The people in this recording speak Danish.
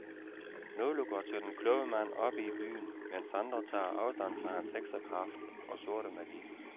Nogle går til den kloge mand oppe i byen, mens andre tager afstand fra hans heksekraft og sorte magi.